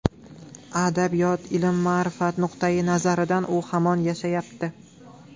Adabiyot, ilm, ma’rifat nuqtayi nazaridan u hamon yashayapti.